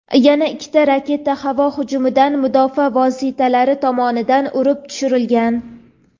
yana ikkita raketa havo hujumidan mudofaa vositalari tomonidan urib tushirilgan.